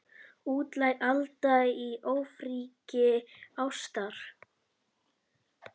Útlæg Alda í ofríki ástar.